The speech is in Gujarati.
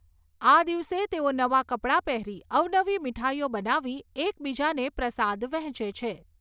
આ દિવસે તેઓ નવા કપડા પહેરી અવનવી મીઠાઈઓ બનાવી એકબીજાને પ્રસાદ વહેંચે છે.